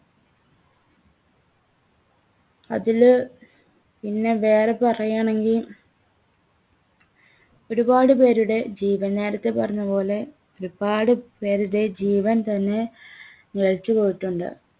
അതില് പിന്നെ വേറെ പറയാണെങ്കിൽ ഒരുപാടുപേരുടെ ജീവൻ നേരത്തെ പറഞ്ഞതുപോലെ ഒരുപാടുപേരുടെ ജീവൻതന്നെ നിലച്ച് പോയിട്ടുണ്ട്.